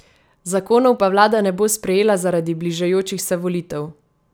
Zakonov pa vlada ne bo sprejela zaradi bližajočih se volitev!